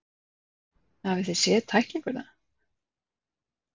Hafið þið séð tæklinguna?